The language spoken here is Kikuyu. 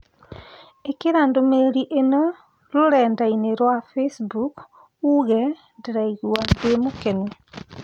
ĩkira ndũmĩrĩri ĩno rũrenda - ĩni rũa Facebook ũũge ndĩraigua ndĩmũkenũ